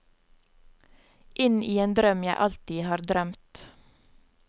Inn i en drøm jeg alltid har drømt.